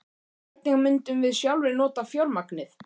Hvernig myndum við sjálfir nota fjármagnið?